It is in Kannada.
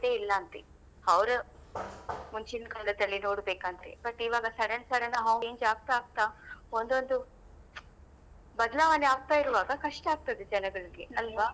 ಇಲ್ಲ ಅಂತೇ ಅವ್ರು ಮುಂಚಿನ್ಕಾಲದಲ್ಲಿ ನೋಡ್ಬೇಕಂತೆ but ಈವಾಗ sudden sudden change ಆಗ್ತಾ ಆಗ್ತಾ ಒಂದೊಂದು ಬದ್ಲಾವಣೆ ಆಗ್ತಾ ಇರುವಾಗ ಕಷ್ಟ ಆಗ್ತದೆ ಜನಗಳಿಗೆ ಅಲ್ವಾ?